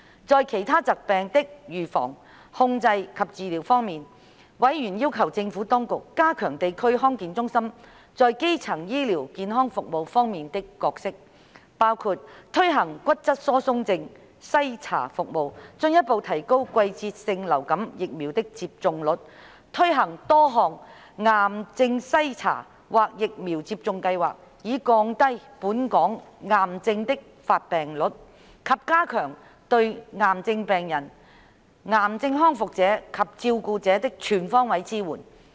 在其他疾病的預防、控制及治療方面，委員要求政府當局加強地區康健中心在基層醫療健康服務方面的角色，包括推行骨質疏鬆症篩查服務；進一步提高季節性流感疫苗的接種率；推行多項癌症篩查或疫苗接種計劃，以降低本港癌症的發病率，以及加強對癌症病人、癌症康復者及照顧者的全方位支援。